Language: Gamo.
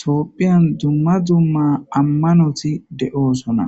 Tophiyan duma duma amanoti de'osona